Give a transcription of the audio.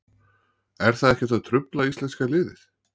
Er það ekkert að trufla íslenska liðið?